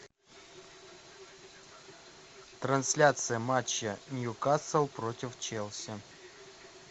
трансляция матча ньюкасл против челси